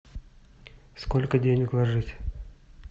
сколько денег ложить